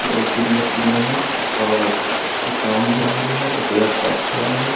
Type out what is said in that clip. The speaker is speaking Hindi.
दो तीन मशीने है और इसपे काम भी हो रहा है एक लड़का खड़ा है ।